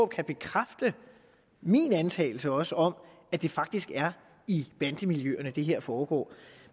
kan bekræfte min antagelse også om at det faktisk er i bandemiljøerne det her foregår